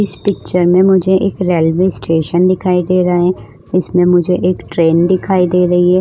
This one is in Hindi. इस पिक्चर में मुझे एक रेलवे स्टेशन दिखाई दे रहा है इसमें मुझे एक ट्रेन दिखाई दे रही है।